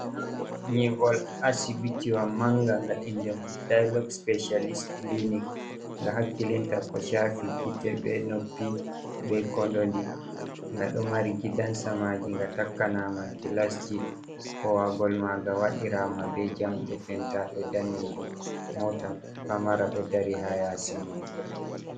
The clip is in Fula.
Nyiɓol Asibitiwa manga, nga inde mum andirama Dailog Speshalis Kiliinik. Nga hakkilinta ko shaafi gite be noppi be kondoje, nga ɗo mari gidan samaji nga takkanaama gilasji kowaagol maaga waɗiraama be jamɗe pentaaɗum daneejum. Moota pamara ɗo dari ha yaasi muuɗum.